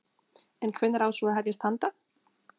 En hvenær á svo að hefjast handa?